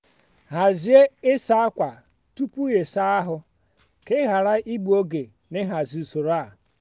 hazie ịsa ákwà tupu ịsa ahụ ka ị ghara igbu oge na ịhazi usoro a.